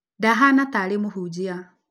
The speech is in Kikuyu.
Ndahana ta arĩ mũhunjia